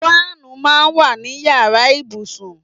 Fáànù máa ń wà ní yàrá ìbùsùn.